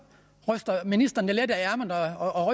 ryster ministeren et let af ærmet og